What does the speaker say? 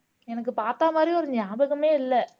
எனக்கு பார்த்த மாதிரியும் ஒரு நியாபகமே இல்ல